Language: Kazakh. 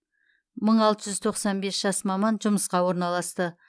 мың алты жүз тоқсан бес жас маман жұмысқа орналасты